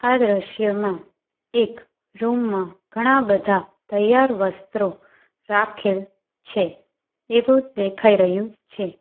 આ દ્રશ્યમાં એક રૂમ માં ઘણા બધા તૈયાર વસ્ત્રો રાખેલ છે એવું દેખાય રહ્યું છે.